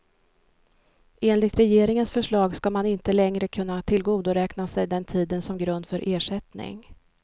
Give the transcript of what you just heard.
Enligt regeringens förslag ska man inte längre kunna tillgodoräkna sig den tiden som grund för ersättning.